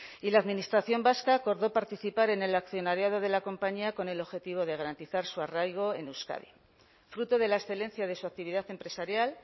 y la administración vasca acordó participar en el accionariado de la compañía con el objetivo de garantizar su arraigo en euskadi fruto de la excelencia de su actividad empresarial